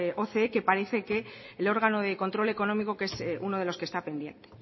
oce que parece que el órgano de control económico que es uno de los que está pendiente